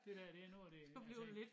Det dér det noget af det altså